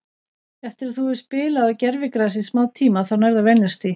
Eftir að þú hefur spilað á gervigrasi í smá tíma þá nærðu að venjast því.